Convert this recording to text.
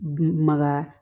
Maga